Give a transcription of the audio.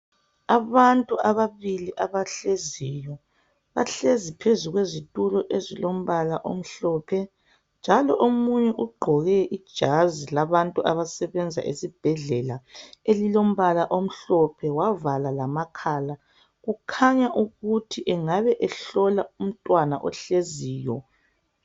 Abantu ababili abahleziyo, bahlezi phezu kwezitulo ezilombala omhlophe njalo omunye ugqoke ijazi labantu abasebenza esibhedlela elilombala omhlophe wavala lamakhala. Kukhanya ukuthi engaba ehlola umntwana ohleziyo.